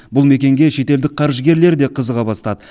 бұл мекенге шетелдік қаржыгерлер де қызыға бастады